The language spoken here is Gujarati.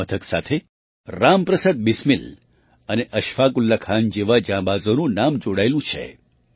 આ મથક સાથે રામપ્રસાદ બિસ્મિલ અને અશફાક ઉલ્લાહ ખાન જેવા જાંબાઝોનું નામ જોડાયેલું છે